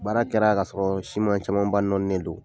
Baara kɛra ka sɔrɔ siman caman ba nɔɔninen do.